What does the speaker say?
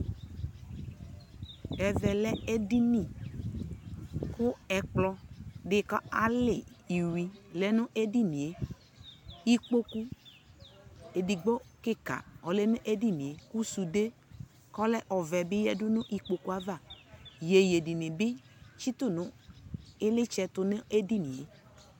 Ɛvɛ lɛ ɛdiniKu ɛkplɔ dι ka ali iyui lɛ nu ɛdini yɛ Ikpoku ɛdigbo kika ɔlɛ nu ɛdini yɛKu sude kɔlɛ ɔvɛ bi ya du nu ikpoku avaYeye dι ni bi tsi tu nu ilitsɛ tu nu ɛdιnι yɛ